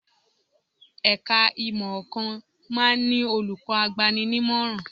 Ẹ̀ka ìmọ̀ ̀ọ̀kan máa ń ní olùkọ́ agbani-nímọ̀ràn